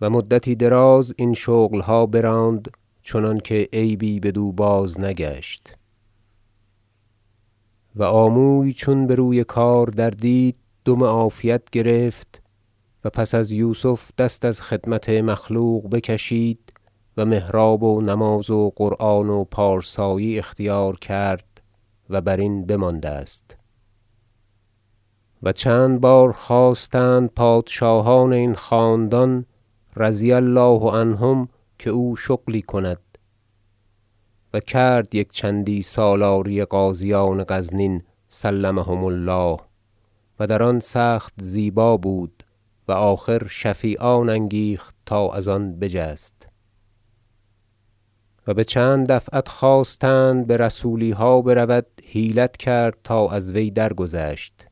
و مدتی دراز این شغلها براند چنانکه عیبی بدو باز نگشت و آموی چون بر وی کار دردید دم عافیت گرفت و پس از یوسف دست از خدمت مخلوق بکشید و محراب و نماز و قرآن و پارسایی اختیار کرد و برین بمانده است و چند بار خواستند پادشاهان این خاندان رضی الله عنهم که او شغلی کند و کرد یک چندی سالاری غازیان غزنین سلمهم الله و در آن سخت زیبا بود و آخر شفیعان انگیخت تا از آن بجست و بچند دفعت خواستند تا بر سولیها برود حیلت کرد تا از وی درگذشت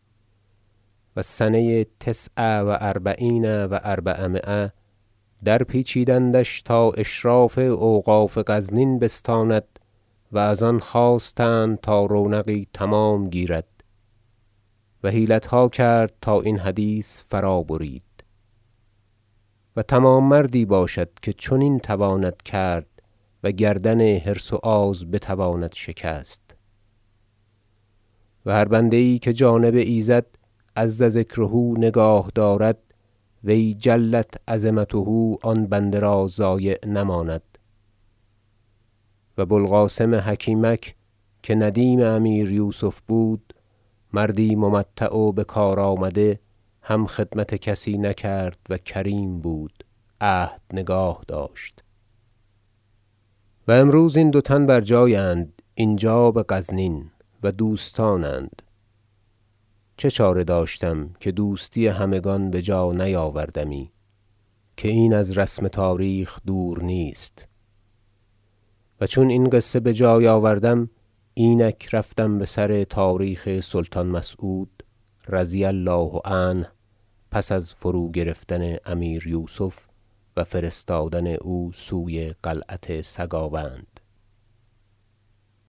و سنه تسع و اربعین و اربعمایه در پیچیدندش تا اشراف اوقاف غزنین بستاند و از آن خواستند تا رونقی تمام گیرد و حیلتها کرد تا این حدیث فرا برید و تمام مردی باشد که چنین تواند کرد و گردن حرص و آز بتواند شکست و هر بنده یی که جانب ایزد عز ذکره نگاه دارد وی جلت عظمته آن بنده را ضایع نماند و بو القاسم حکیمک که ندیم امیر یوسف بود مردی ممتع و بکار آمده هم خدمت کسی نکرد و کریم بود عهد نگاهداشت و امروز این دو تن بر جای اند اینجا بغزنین و دوستانند چه چاره داشتم که دوستی همگان بجا نیاوردمی که این از رسم تاریخ دور نیست و چون این قصه بجای آوردم اینک رفتم بسر تاریخ سلطان مسعود رضی الله عنه پس از فروگرفتن امیر یوسف و فرستادن او سوی قلعت سگاوند